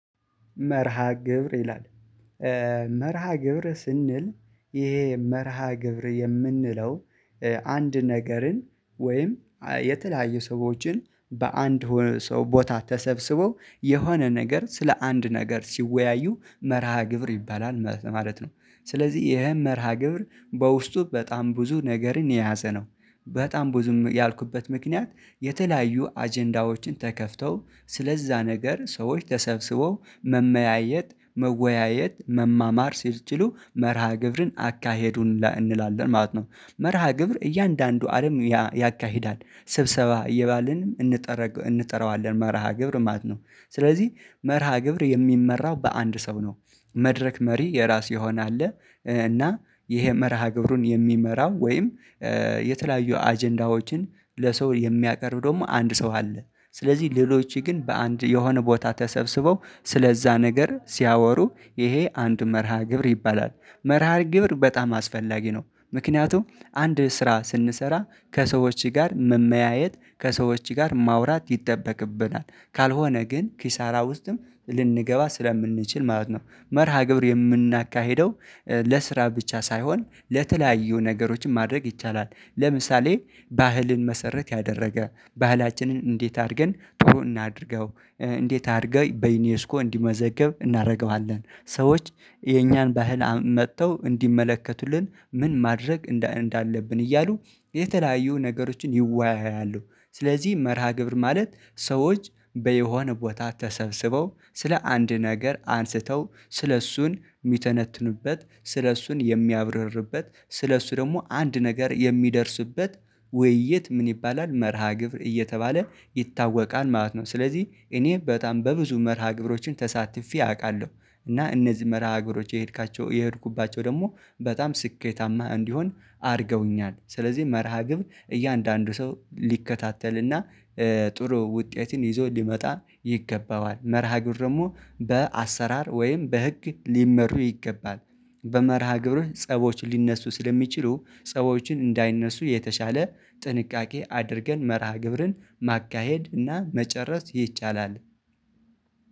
መርሃ ግብር ይላል። መርሃ ግብር ስንል ይሄ መርሃ ግብር የምንለው አንድ ነገርን ወይም የተለያዩ ሰዎችን በአንድ ሆነ ሰው ቦታ ተሰብስበው የሆነ ነገር ስለ አንድ ነገር ሲወያዩ መርሃ ግብር ይባላል ማለት ነው። ስለዚህ ይሄን መርሃ ግብር በውስጡ በጣም ብዙ ነገርን የያዘ ነው። በጣም ብዙም ያልኩበት ምክንያት የተለያዩ አጀንዳዎችን ተከፍተው ስለዛ ነገር ሰዎች ተሰብስበው መመያየት መወያየት መማማር ሲል ጭሎ መርሃ ግብርን አካሄዱን እንላለን ማለት ነው። መርሃ ግብር እያንዳንዱ አለም ያካሂዳል ስብሰባ እየባልንም እንጠራዋለን መርሃ ግብር ማለት ነው። ስለዚህ መርሃ ግብር የሚመራው በአንድ ሰው ነው። መድረክ መሪ የራስ የሆነ አለ እና ይሄ መርሃ ግብሩን የሚመራው ወይም የተለያዩ አጀንዳዎችን ለሰው የሚያቀርብ ደግሞ አንድ ሰው አለ። ስለዚህ ሌሎች ግን በአንድ የሆነ ቦታ ተሰብስበው ስለዛ ነገር ሲያወሩ ይሄ አንድ መርሃ ግብር ይባላል መርሃ ግብር በጣም አስፈላጊ ነው። ምክንያቱም አንድ ስራ ስንሰራ ከሰዎች ጋር መመያየት ከሰዎች ጋር ማውራት ይጠበቅብናል ካልሆነ ግን ኪሳራ ውስጥም ልንገባ ስለምንችል ማለት ነው። መርሃ ግብር የምናካሂደው ለስራ ብቻ ሳይሆን ለተለያዩ ነገሮችን ማድረግ ይቻላል። ለምሳሌ ባህልን መሰረት ያደረገ ባህላችንን እንዴት አድርገን ትሮ እናድርገው እንዴት አድርገን በዩኒየስኮ እንዲመዘገብ እናደርገዋለን ሰዎች የእኛን ባህል መጥተው እንዲመለከቱልን ምን ማድረግ እንዳለብን እያሉ የተለያዩ ነገሮችን ይወያያሉ። ስለዚህ መርሃ ግብር ማለት ሰዎች በየሆነ ቦታ ተሰብስበው ስለ አንድ ነገር አንስተው ስለእሱን የሚተነትኑበት ስለእሱን የሚያብረርበት ስለእሱ ደግሞ አንድ ነገር የሚደርስበት ውይይት ምን ይባላል መርሃ ግብር እየተባለ ይታወቃል ማለት ነው። ስለዚህ እኔ በጣም በብዙ መርሃ ግብሮችን ተሳትፌ አውቃለሁ። እና እነዚህ መርሃ አገሮች የሄድካቸው የሄድኩባቸው ደግሞ በጣም ስኬታማ እንዲሆን አድርገውኛል። ስለዚህ መርሃ ግብር እያንዳንዱ ሰው ሊከታተል እና ጥሩ ውጤትን ይዞ ሊመጣ ይገባዋል። መርሃ ግብር ደግሞ በአሰራር ወይም በህግ ሊመሩ ይገባል። በመርሃ ግብርህ ጸቦች ሊነሱ ስለሚችሉ ጸቦችን እንዳይነሱ የተሻለ ጥንቃቄ አድርገን መርሃ ግብርን ማካሄድ እና መጨረስ ይቻላል።